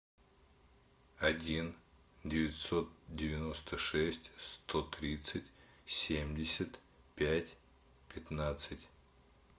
один девятьсот девяносто шесть сто тридцать семьдесят пять пятнадцать